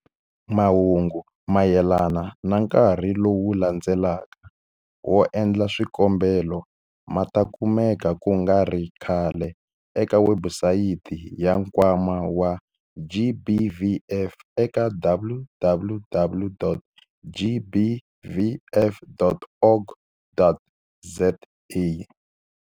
Mahungu mayelana na nkarhi lowu landzelaka wo endla swikombelo ma ta kumeka ku nga ri khale eka webusayiti ya Nkwama wa GBVF eka-www.gbvf.org.za.